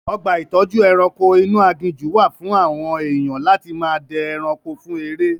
Ọgbà ìtọ́jú ẹranko inú aginjù wà fún àwọn èèyan láti máa dẹ ẹranko fún eré.